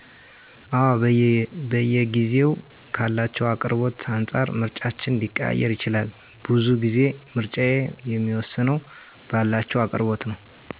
አወ በየጊዜዉ ካላቸዉ አቅርቦት አንፃር ምርጫችን ሊቀያየር ይችላል። ቡዙ ጊዜ ምረጫየ የሚወስነዉ ባላቸዉ አቅርቦት ነዉ